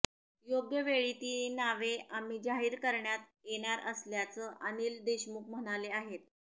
योग्यवेळी ती नावे आम्ही जाहीर करण्यात येणार असल्याचं अनिल देशमुख म्हणाले आहेत